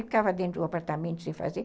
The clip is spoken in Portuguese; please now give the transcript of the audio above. Ficava dentro do apartamento sem fazer.